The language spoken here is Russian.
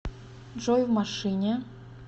джой в машине